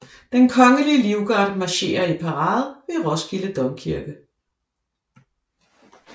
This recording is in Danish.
Den Kongelige Livgarde marcherer i parade ved Roskilde Domkirke